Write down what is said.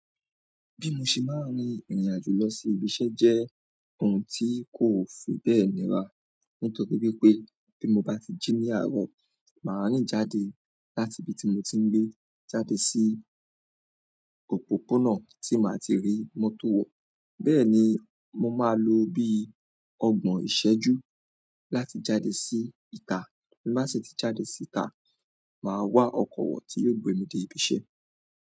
Bí mo ṣe máa ń rin ìrìn àjò lọ sí ibi iṣẹ́ jẹ́ ohun tí kò fi bẹ́ẹ̀ níra. Nítorí wípé bí mo bá ti jí ní àárọ̀, màá rìn jáde láti ibi tí mo ti ń gbé, jáde sí òpópónà tí màá ti rí mọ́tò wọ̀. Bẹ́ẹ̀ ni, mo máa lo bí ọgbọ̀n ìṣẹ́jú láti jáde sí ìta. Bí mo bá sì ti jáde sí ìta, màá wá ọkọ̀ wọ̀ tí yóò gbé mi dé ibi iṣẹ́.